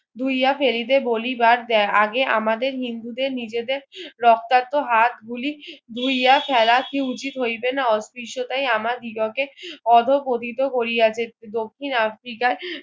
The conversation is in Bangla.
ধুইয়া ফেলিতে বলিবার আগে আমাদের হিন্দু দেড় নিজেদের রক্তাক্ত হাত গুলি ধুইয়া ফেলা কি উচিত হইবে না অদৃশ টা আমার দিগকে অধঃপতিত করিয়াছে দক্ষিণ আফ্রিকায়